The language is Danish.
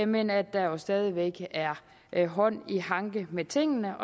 men at der jo stadig væk er er hånd i hanke med tingene